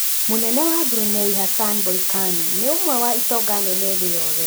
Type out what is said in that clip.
Mũnene wa Brunei Hassanal Bolkiah nĩ ũmwe wa itonga nene thĩ yothe